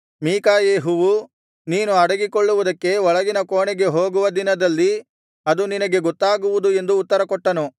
ಮೀಕಾಯೆಹುವು ನೀನು ಅಡಗಿಕೊಳ್ಳುವುದಕ್ಕೆ ಒಳಗಿನ ಕೋಣೆಗೆ ಹೋಗುವ ದಿನದಲ್ಲಿ ಅದು ನಿನಗೆ ಗೊತ್ತಾಗುವುದು ಎಂದು ಉತ್ತರಕೊಟ್ಟನು